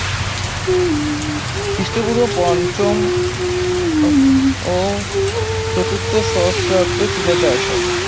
খ্রিস্টপূর্ব পঞ্চম আহ ও চতুর্থ সহস্রাব্দে তুলা চাষ করা হয়